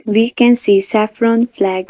We can see saffron flag .